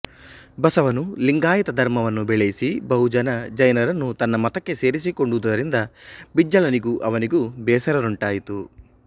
ಬಸವನು ಲಿಂಗಾಯತ ಧರ್ಮವನ್ನು ಬೆಳೆಯಿಸಿ ಬಹು ಜನ ಜೈನರನ್ನು ತನ್ನ ಮತಕ್ಕೆ ಸೇರಿಸಿಕೊಂಡುದರಿಂದ ಬಿಜ್ಜಳನಿಗೂ ಅವನಿಗೂ ಬೇಸರುಂಟಾಯಿತು